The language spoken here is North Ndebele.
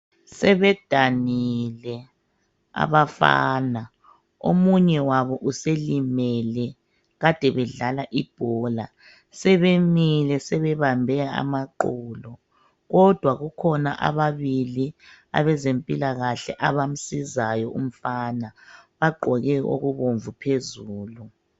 Sebedanile abafana omunye wabo uselimele kade bedlala ibhola. Sebemile sebebambe amaqolo. Kodwa kukhona ababili abezempilakahle abamsizayo umfana. Bagqoke okubomvu phezulu.